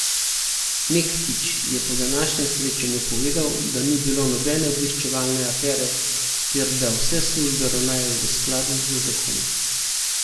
Mektić je po današnjem srečanju povedal, da ni bilo nobene obveščevalne afere ter da vse službe ravnajo v skladu z zakoni.